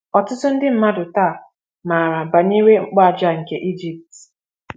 Ọtụtụ ndị mmadụ taa maara banyere mkpu aja nke Egypt.